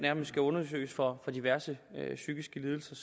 skal undersøges for diverse psykiske lidelser